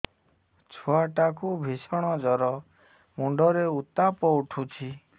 ଛୁଆ ଟା କୁ ଭିଷଣ ଜର ମୁଣ୍ଡ ରେ ଉତ୍ତାପ ଉଠୁଛି